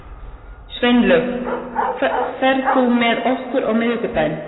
Sveinlaug, ferð þú með okkur á miðvikudaginn?